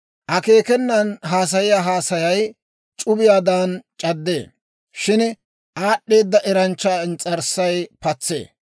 Akeekenan haasayiyaa haasayay c'ubiyaadan c'addee; shin aad'd'eeda eranchchaa ins's'arssay patsee.